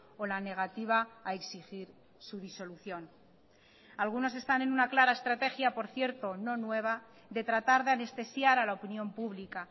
o la negativa a exigir su disolución algunos están en una clara estrategia por cierto no nueva de tratar de anestesiar a la opinión pública